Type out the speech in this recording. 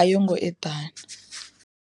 a yo ngo eḓana.